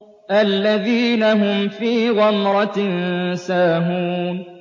الَّذِينَ هُمْ فِي غَمْرَةٍ سَاهُونَ